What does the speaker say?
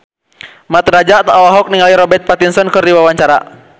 Mat Drajat olohok ningali Robert Pattinson keur diwawancara